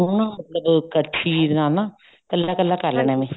ਉਹਨੂੰ ਮਤਲਬ ਕੜਛੀ ਦੇ ਨਾਲ ਨਾ ਕੱਲਾ ਕੱਲਾ ਕਰ ਲੈਣਾ